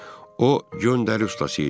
O göndəri ustası idi.